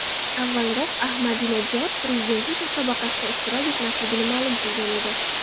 Avvalroq, Ahmadinajod prezidentlik musobaqasida ishtirok etmasligini ma’lum qilgan edi.